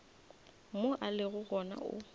mo a lego gona o